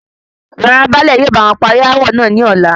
Rárá, báálè yóò báwọn parí aawọ náà ní ọ̀la